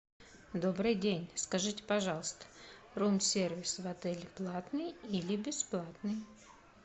добрый день скажите пожалуйста рум сервис в отеле платный или бесплатный